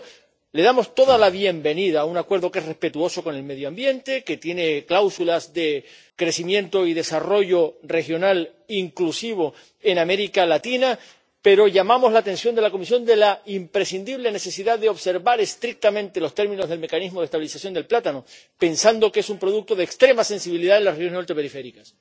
Por eso, damos la bienvenida a un acuerdo que es respetuoso con el medio ambiente, que tiene cláusulas de crecimiento y desarrollo regional inclusivo en América Latina, pero llamamos la atención de la Comisión sobre la imprescindible necesidad de observar estrictamente los términos del mecanismo de estabilización del plátano, pensando que es un producto de extrema sensibilidad en las regiones ultraperiféricas.